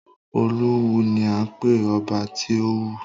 Olówù ni à ń pé ọba tí Òwu.